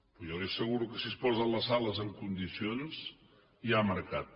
però jo li asseguro que si es posen les sales en condicions hi ha mercat